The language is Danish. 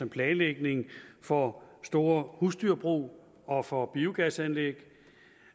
planlægning for store husdyrbrug og for biogasanlæg